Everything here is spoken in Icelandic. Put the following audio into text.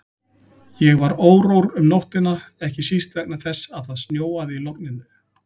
Ég var órór um nóttina, ekki síst vegna þess að það snjóaði í logninu.